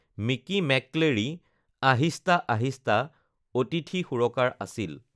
"Mickey McCleary ""Ahista Ahista"" অতিথি সুৰকাৰ আছিল৷"